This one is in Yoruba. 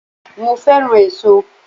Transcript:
Mo fẹ́ràn èso